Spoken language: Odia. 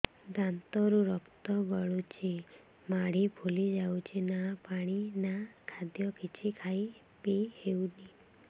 ଦାନ୍ତ ରୁ ରକ୍ତ ଗଳୁଛି ମାଢି ଫୁଲି ଯାଉଛି ନା ପାଣି ନା ଖାଦ୍ୟ କିଛି ଖାଇ ପିଇ ହେଉନି